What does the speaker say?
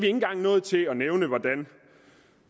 engang nået til at nævne hvor